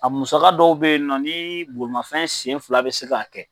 A musaka dɔw bɛ ye nɔ ni bolimafɛn senfila bɛ se k'a kɛ